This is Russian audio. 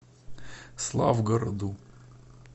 славгороду